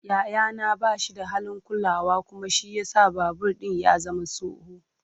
Yayana ba shi da halin kulawa kuma shi ya sa babur ɗin ya zama tsoho.